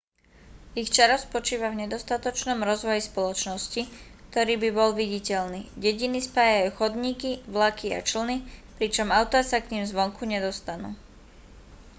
ich čaro spočíva v nedostatočnom rozvoji spoločnosti ktorý by bol viditeľný dediny spájajú chodníky vlaky a člny pričom autá sa k nim zvonku nedostanú